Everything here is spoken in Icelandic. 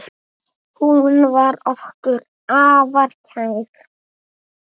Hún var okkur afar kær.